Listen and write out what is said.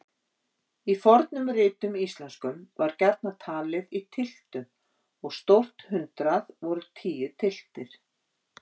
Í fornum ritum íslenskum var gjarnan talið í tylftum og stórt hundrað voru tíu tylftir.